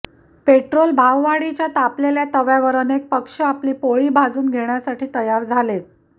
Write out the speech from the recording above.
petrol भाववाढीच्या तापलेल्या तव्यावर अनेक पक्ष आपली पोळी भाजून घेण्यासाठी तयार झालेत